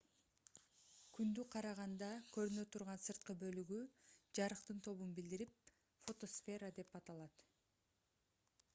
күндү караганда көрүнө турган сырткы бөлүгү жарыктын тобун билдирип фотосфера деп аталат